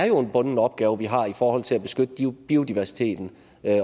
jo er en bunden opgave vi har i forhold til at beskytte biodiversiteten